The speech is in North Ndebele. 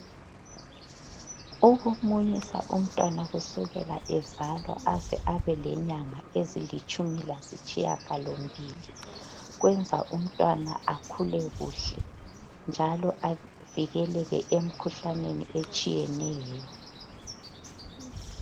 Ukumunyisa umtwana kusukela ezalwa aze abele nyanga ezilitshumi lasitshiyagalo mbili. Kwenza umtwana akhule kuhle. Njalo avikeleke emkhuhlaneni etshiyeneyo.